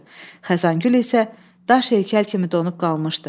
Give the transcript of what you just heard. Xəzangül isə daş heykəl kimi donub qalmışdı.